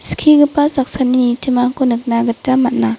skigipa saksani nitimako nikna gita man·a.